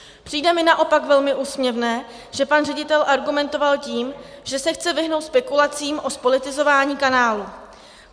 Přijde mi naopak velmi úsměvné, že pan ředitel argumentoval tím, že se chce vyhnout spekulacím o zpolitizování kanálu.